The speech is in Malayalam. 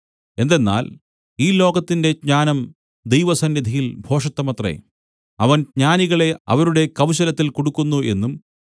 എന്തെന്നാൽ ഈ ലോകത്തിന്റെ ജ്ഞാനം ദൈവസന്നിധിയിൽ ഭോഷത്തമത്രേ അവൻ ജ്ഞാനികളെ അവരുടെ കൗശലത്തിൽ കുടുക്കുന്നു എന്നും